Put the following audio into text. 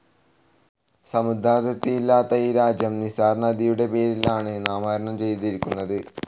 സമുദ്രാതിർത്തിയില്ലാത്ത ഈ രാജ്യം നിസാർ നദിയുടെ പേരിൽ ആണ് നാമകരണം ചെയ്തിരിക്കുന്നത്.